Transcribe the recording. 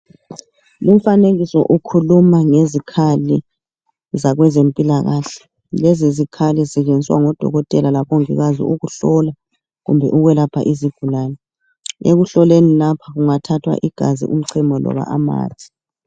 Lumfanekiso ukhuluma ngezikhali zakwezempilakahle. Lezizikhali, zisetshenziswa ngodokotela, labongikazi. Ukuhlola kumbe ukwelapha izigulane. Ekuhloleni lapha, kungathathwa igazi, umchemo, loba amanzi,